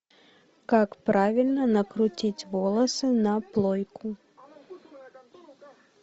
как правильно накрутить волосы на плойку